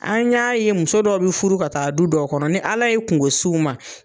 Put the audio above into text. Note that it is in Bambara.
An y'a ye muso dɔ bɛ furu ka taa du dɔw kɔnɔ nin ala ye kungosiw ma.